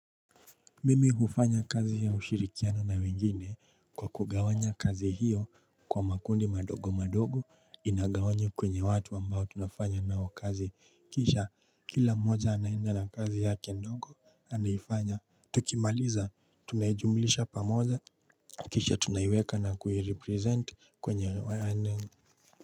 Mimi hufanya kazi ya ushirikiano na wengine kwa kugawanya kazi hiyo kwa makundi madogo madogo inagawanywa kwenye watu ambao tunafanya nao kazi kisha kila mmoja anaenda na kazi yake ndogo, anaifanya, tukimaliza, tunaijumlisha pamoja kisha tunaiweka na kuiripresent kwenye.